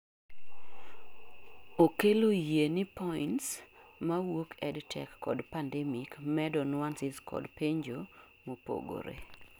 okelo yie ni points mawuok EdTech kod pandemic medo nuanceas kod penjo mopogore